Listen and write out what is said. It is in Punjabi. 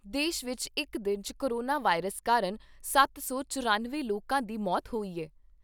ਦੇਸ਼ ਵਿਚ ਇਕ ਦਿਨ 'ਚ ਕੋਰੋਨਾ ਵਾਇਰਸ ਕਾਰਨ ਸੱਤ ਸੌ ਚੁਰੰਨਵੇਂ ਲੋਕਾਂ ਦੀ ਮੌਤ ਹੋਈ ਐ।